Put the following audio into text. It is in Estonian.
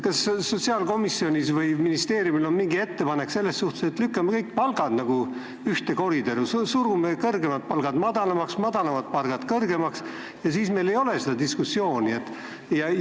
Kas sotsiaalkomisjonil või ministeeriumil on mingi ettepanek, et lükkame kõik palgad nagu ühte koridori, surume kõrgemad palgad madalamaks, madalamad palgad kõrgemaks, ja siis meil ei ole seda diskussiooni?